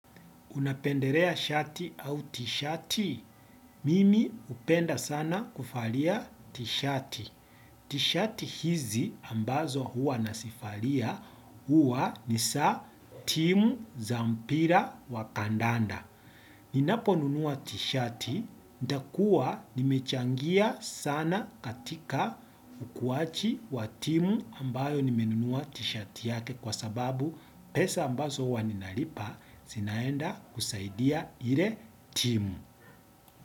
Unapendelea shati au t-shati? Mimi upenda sana kufalia t-shati. T-shati hizi ambazo huwa nazivalia huwa ni za timu za mpira wa kandanda. Ninaponunua t-shati, nitakuwa nimechangia sana katika ukuwaji wa timu ambayo nimenunua t-shati yake kwa sababu pesa ambazo huwa ninalipa zinaenda kusaidia ile timu.